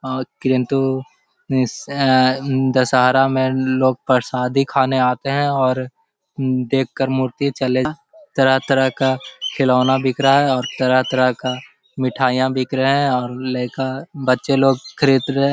और किन्तु इस आ दशहरा में लोग प्रसादी खाने आते हैं और देख कर मूर्ति चलें तरह-तरह का खिलौना बिक रहा है और तरह-तरह का मिठाइयाँ बिक रहे हैं और लेखा बच्चे लोग खरीद रहें हैं।